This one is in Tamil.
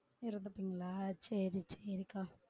இருந்துப்பிங்களா சேரி சேரிக்கா